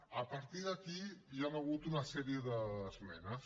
a partir d’aquí hi han hagut una sèrie d’esmenes